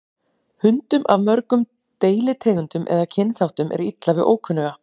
Hundum af mörgum deilitegundum eða kynþáttum er illa við ókunnuga.